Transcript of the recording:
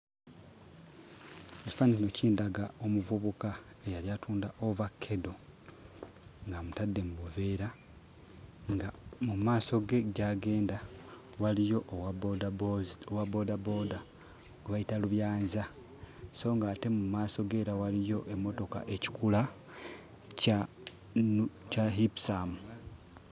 Ekifaananyi kino kindaga omuvubuka eyali atunda ovakkedo ng'amutadde mu buveera nga mu maaso ge gy'agenda waliyo owa bboodabooda gwe bayita lubyanza so ng'ate mu maaso ge era waliyo emmotoka, ekikula kya 'Ipsum'.